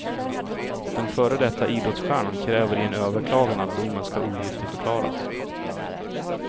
Den före detta idrottsstjärnan kräver i en överklagan att domen ska ogiltigförklaras.